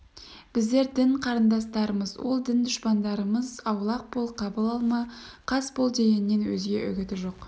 біздер дін қарындастарымыз ол дін дұшпандарымыз аулақ бол қабыл алма қас бол дегеннен өзге үгіті жоқ